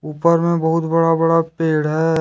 ऊपर मे बहुत बड़ा बड़ा पेड़ है।